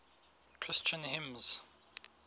christian hymns